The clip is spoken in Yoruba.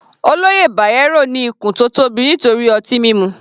Olóyè Bayero ní ikùn tó tóbi nítorí ọtí mímu.